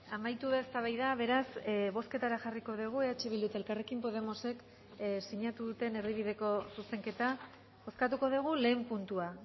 amaitu da eztabaida beraz bozketara jarriko dugu eh bildu eta elkarrekin podemosek sinatu duten erdibideko zuzenketa bozkatuko dugu lehen puntua